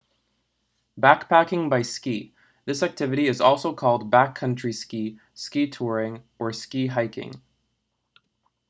backpacking by ski this activity is also called backcountry ski ski touring or ski hiking